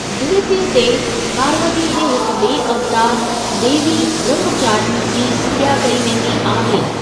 द्वितीया ते, पार्वतीअ जे हिक ॿिए अवतार, देवी ब्रह्मचारिणी जी पूॼा कई वेंदी आहे।